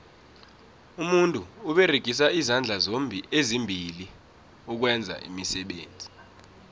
umuntu uberegisa izandla ezimbili ukwenza iimisebenzi